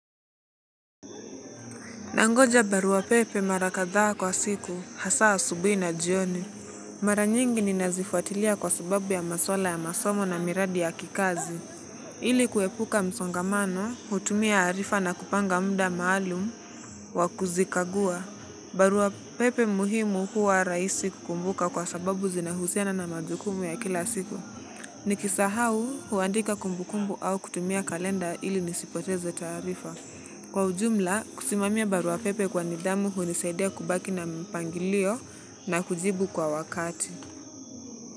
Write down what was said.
Nangoja barua pepe marakadhaa kwa siku, hasa asubui na jioni. Mara nyingi ni nazifuatilia kwa sababu ya maswala ya masomo na miradi ya kikazi. Ili kuepuka msongamano, hutumia arifa na kupanga mda maalumu, wakuzikagua. Barua pepe muhimu huwa rahisi kukumbuka kwa sababu zinahusiana na majukumu ya kila siku. Nikisahau huandika kumbukumbu au kutumia kalenda ili nisipoteze taarifa. Kwa ujumla, kusimamia baruapepe kwa nidamu hunisaidia kubaki na mpangilio na kujibu kwa wakati.